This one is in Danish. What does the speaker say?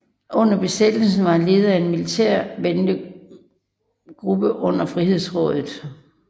Under besættelsen var han leder af en militærventegruppe under Frihedsrådet